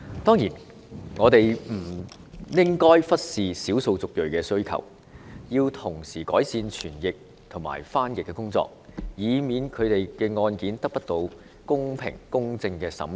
當然，我們亦不應忽視少數族裔的需求，要同時改善傳譯和翻譯服務，以免他們的案件得不到公平、公正的審理。